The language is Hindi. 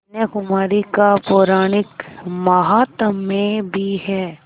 कन्याकुमारी का पौराणिक माहात्म्य भी है